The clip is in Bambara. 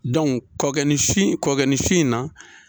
kɔɔkɛ ni su in na.